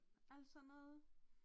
Alt så noget